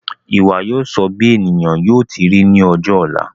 Ìwà yóò sọ bí ènìyàn yóò ti ri ní ọjọ ọ̀la